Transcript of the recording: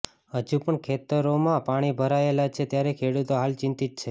હજુ પણ ખેતરોમાં પાણી ભરાયેલા છે ત્યારે ખેડૂતો હાલ ચિંતિત છે